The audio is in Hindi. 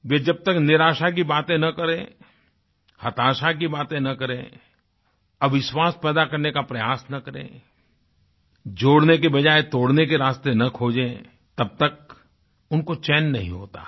वह जब तक निराशा की बातें न करें हताशा की बातें न करें अविश्वास पैदा करने का प्रयास न करें जोड़ने के बजाय तोड़ने के रास्ते न खोजें तब तक उनको चैन नहीं होता है